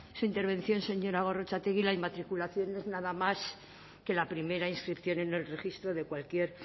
su intervención señora gorrotxategi la inmatriculación no es nada más que la primera inscripción en el registro de cualquier